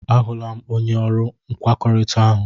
A hụla m, onye ọrụ nkwekọrịta ahụ.